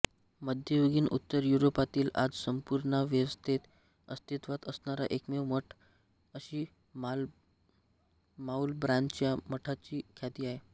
मध्ययुगीन उत्तर युरोपातील आज संंपूर्णावस्थेत अस्तित्वात असणारा एकमेव मठ अशी माउलब्रॉनच्या मठाची ख्याती आहे